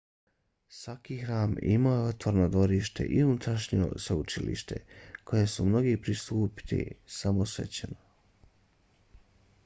svaki hram imao je otvoreno dvorište i unutrašnje svetište kojem su mogli pristupiti samo svećenici